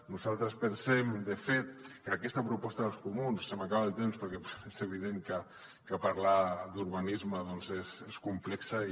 nosaltres pensem de fet que aquesta proposta dels comuns se m’acaba el temps perquè és evident que parlar d’urbanisme doncs és complex i